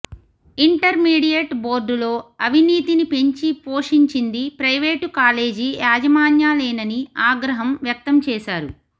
intermediate బోర్డులో అవినీతిని పెంచి పోషించింది ప్రైవేటు కాలేజీ యాజమాన్యాలేనని ఆగ్రహం వ్యక్తం చేశారు